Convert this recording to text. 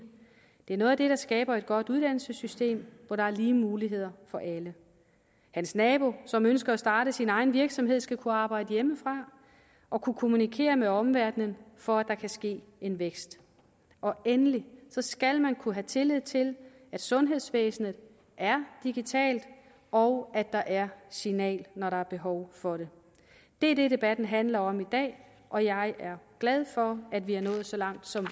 det er noget af det der skaber et godt uddannelsessystem hvor der er lige muligheder for alle hans nabo som ønsker at starte sin egen virksomhed skal kunne arbejde hjemmefra og kunne kommunikere med omverdenen for at der kan ske en vækst og endelig skal man kunne have tillid til at sundhedsvæsenet er digitalt og at der er signal når der er behov for det det er det debatten handler om i dag og jeg er glad for at vi er nået så langt som